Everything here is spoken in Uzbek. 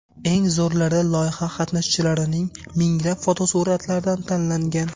Eng zo‘rlari loyiha qatnashchilarining minglab fotosuratlaridan tanlangan.